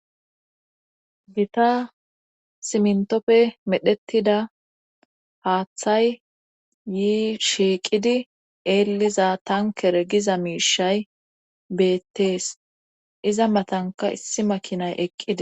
gita simntoppe medhettida haaththay yii shiiqidi eelliza tankere giza miishay beettees iza matanka issi makinay eqqida